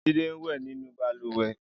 Jide n wẹ̀ ninú bàlùwẹ̀